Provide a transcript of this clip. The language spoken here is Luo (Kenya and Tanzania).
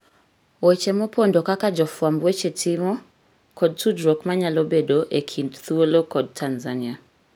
Weche mopondo kaka jofwamb weche timo kod tudruok manyalo bedoe e kind thuolo kod Tanzania